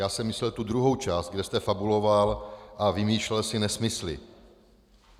Já jsem myslel tu druhou část, kde jste fabuloval a vymýšlel si nesmysly.